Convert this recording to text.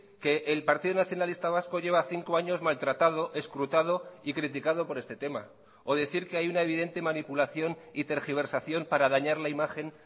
que el partido nacionalista vasco lleva cinco años maltratado escrutado y criticado por este tema o decir que hay una evidente manipulación y tergiversación para dañar la imagen